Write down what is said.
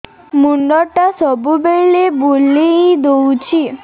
ମୁଣ୍ଡଟା ସବୁବେଳେ ବୁଲେଇ ଦଉଛି